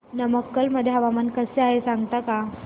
नमक्कल मध्ये हवामान कसे आहे सांगता का